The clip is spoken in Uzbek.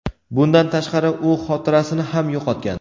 Bundan tashqari, u xotirasini ham yo‘qotgan.